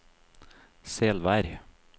Selvær